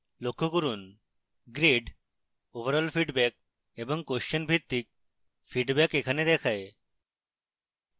লক্ষ্য করুন grade overall feedback এবং question ভিত্তিক feedback এখানে দেখায়